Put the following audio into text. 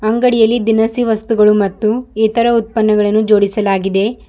ಅಂಗಡಿಯಲ್ಲಿ ದಿನಸಿ ವಸ್ತುಗಳು ಮತ್ತು ಇತರ ಉತ್ಪನಗಳನ್ನು ಜೋಡಿಸಲಾಗಿದೆ.